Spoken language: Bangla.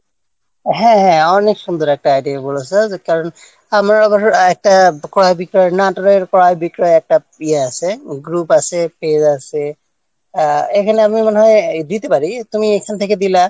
হ্যাঁ হ্যাঁ অনেক সুন্দর একটা Idea করেছ যে কারণ আমরা ঘরে একটা ক্রয় বিক্রয় Matter-র ক্রয় বিক্রয় একটা Group আছে Page আছে এখানে আমিও মনে হয় দিতে পারি তুমি এখান থেকে দিলা